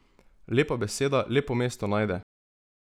Lepa beseda lepo mesto najde!